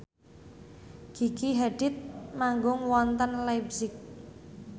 Gigi Hadid manggung wonten leipzig